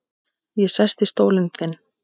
Ég sest í stólinn þinn.